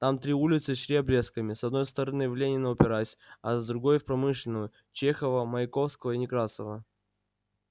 там три улицы шли обрезками с одной стороны в ленина упираясь а с другой в промышленную чехова маяковского и некрасова